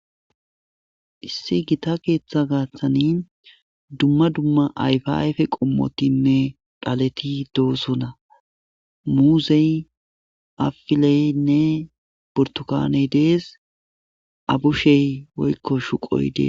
issi gita keeththa gaaththani dumma dumma ayfayfe qommotinme dhaleti doosona muuzey afileynne bortukaaney dees abushey woykko shuqoy dees